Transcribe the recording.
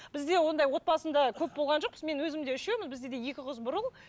бізде ондай отбасымда көп болған жоқпыз мен өзім де үшеуміз бізде де екі қыз бір ұл